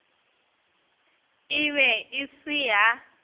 e be e se ya